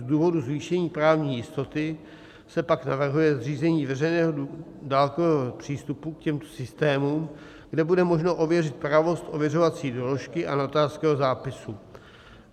Z důvodu zvýšení právní jistoty se pak navrhuje zřízení veřejného dálkového přístupu k těmto systémům, kde bude možno ověřit pravost ověřovací doložky a notářského zápisu.